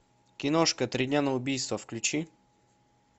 киношка три дня на убийство включи